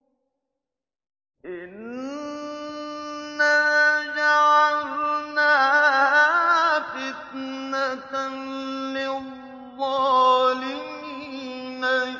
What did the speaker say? إِنَّا جَعَلْنَاهَا فِتْنَةً لِّلظَّالِمِينَ